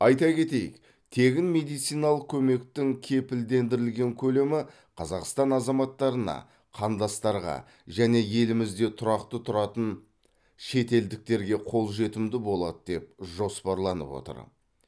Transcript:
айта кетейік тегін медициналық көмектің кепілдендірілген көлемі қазақстан азаматтарына қандастарға және елімізде тұрақты тұратын шетелдіктерге қолжетімді болады деп жоспарланып отыр